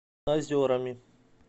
озерами